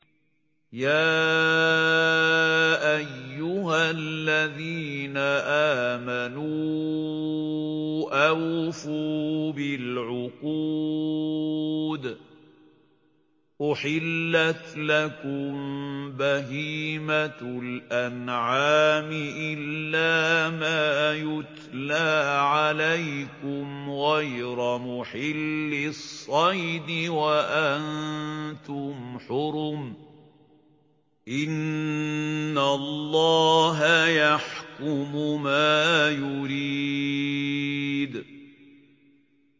يَا أَيُّهَا الَّذِينَ آمَنُوا أَوْفُوا بِالْعُقُودِ ۚ أُحِلَّتْ لَكُم بَهِيمَةُ الْأَنْعَامِ إِلَّا مَا يُتْلَىٰ عَلَيْكُمْ غَيْرَ مُحِلِّي الصَّيْدِ وَأَنتُمْ حُرُمٌ ۗ إِنَّ اللَّهَ يَحْكُمُ مَا يُرِيدُ